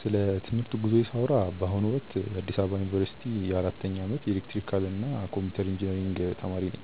ስለ ትምህርት ጉዞዬ ሳወራ በአሁኑ ወቅት በአዲስ አበባ ዩኒቨርሲቲ በአራተኛ ዓመት የኤሌክትሪካልና ኮምፒውተር ኢንጂነሪንግ ተማሪ ነኝ።